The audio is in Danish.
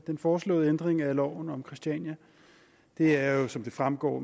den foreslåede ændring af loven om christiania det er jo som det fremgår